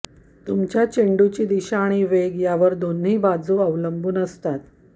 तुमच्या चेंडूची दिशा आणि वेग यावर दोन्ही बाजू अवलंबून असतात